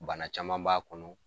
Bana caman b'a kɔnɔ